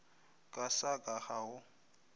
ka sa ka ga go